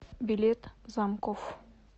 билет замкофф